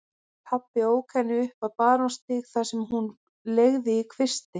Pabbi ók henni upp á Barónsstíg þar sem hún leigði í kvisti.